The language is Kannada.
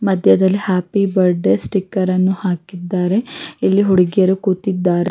ಮದ್ಯದಲ್ಲಿ ಹ್ಯಾಪಿ ಬರ್ತ್ಡೇ ಸ್ಟಿಕರ್ ಅನ್ನು ಹಾಕಿದ್ದಾರೆ ಇಲ್ಲಿ ಹುಡುಗಿಯರು ಕೂತಿದ್ದಾರೆ.